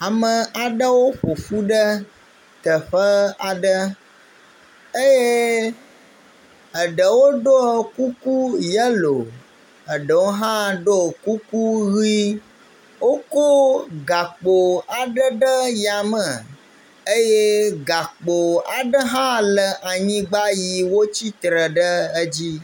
Ame aɖewo ƒoƒu ɖe teƒe aɖe eye eɖewo ɖɔ kuku yelo eɖewo hã ɖo kuku ʋi. Woko gakpo aɖe ɖe yame eye gakpo aɖe hã le anyigba yi wotsitre ɖe edzi.